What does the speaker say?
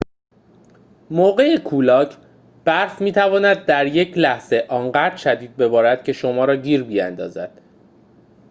موقع کولاک برف می‌تواند در یک لحظه آنقدر شدید ببارد که شما را گیر بیندازد